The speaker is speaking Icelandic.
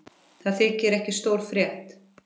Það þykir ekki stór frétt.